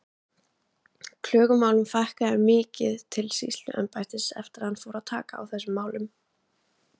Klögumálum fækkaði mikið til sýsluembættisins eftir að hann fór að taka á þessum málum.